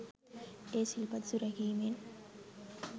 ඒ සිල් පද සුරැකීමෙන්